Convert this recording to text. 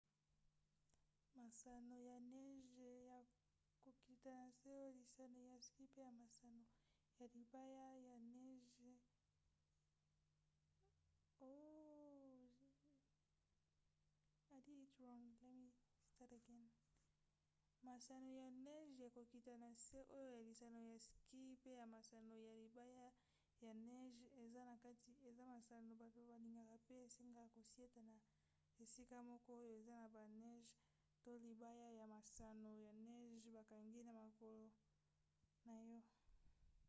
masano ya neje ya kokita na nse oyo lisano ya ski mpe ya masano ya libaya ya neje eza na kati eza masano bato balingaka mpe esengaka kosieta na esika moko oyo eza na baneje to libaya ya masano ya neje bakangi na makolo na yo